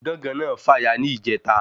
Gángan náà fàya ní ìjẹta